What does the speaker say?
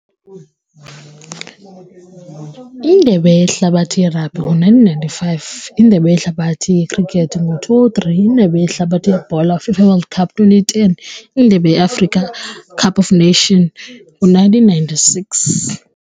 Indebe yehlabathi yerabhi ngo-nineteen ninety-five. Indebe yehlabathi yekhrikethi ngo-two oh three. Indebe yehlabathi yebhola, FIFA World Cup twenty ten. Indebe yeAfrica Cup of Nation ngo-nineteen ninety-six.